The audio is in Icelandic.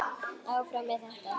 Áfram með þetta.